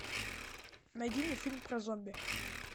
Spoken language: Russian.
найди мне фильм про зомби